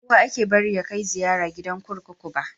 Ba kowa ake bari ya kai ziyara gidan kurkuku ba.